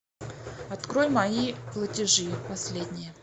открой мои платежи последние